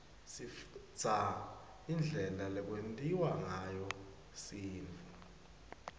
sifundza indlela lekwentiwa ngayo sintfu